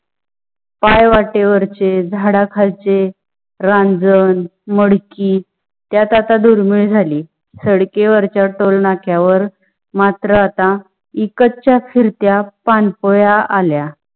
पाय वाटेवरचे, झाडा खालचे, रंजन, मडके त्यामध्ये आता दुर्मिळ झाली. सडकी वरच्या टोलनाक्या वर मात्र आता विकतच्या फिरत्या पान पोया आल्या.